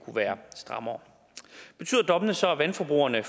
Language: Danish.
kunne være strammere betyder dommene så at vandforbrugerne